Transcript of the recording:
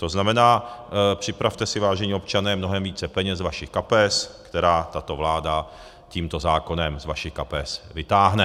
To znamená, připravte si, vážení občané, mnohem více peněz ze svých kapes, které tato vláda tímto zákonem z vašich kapes vytáhne.